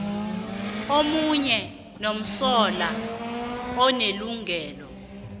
nomunye umsolwa unelungelo